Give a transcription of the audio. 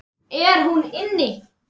Er hún inni?